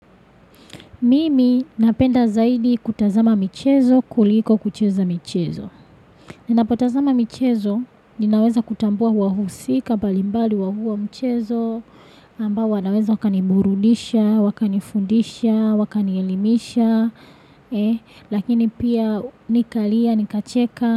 Mimi napenda zaidi kutazama mchezo, kuliko kucheza mchezo. Ninapotazama mchezo, ninaweza kutambua hua husika, balimbali hua hua mchezo, ambawa naweza wakani mburudisha, wakani fundisha, wakani elimisha, lakini pia nikalia, nikacheka.